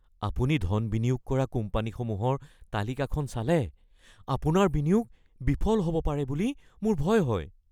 আপুনি ধন বিনিয়োগ কৰা কোম্পানীসমূহৰ তালিকাখন চালে আপোনাৰ বিনিয়োগ বিফল হ’ব পাৰে বুলি মোৰ ভয় হয়।